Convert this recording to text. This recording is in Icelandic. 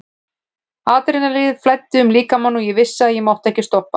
Adrenalínið flæddi um líkamann og ég vissi að ég mátti ekki stoppa.